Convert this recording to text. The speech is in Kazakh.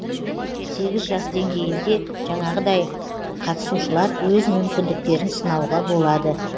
сегіз жас деңгейінде жаңағыдай қатысушылар өз мүмкіндіктерін сынауға болады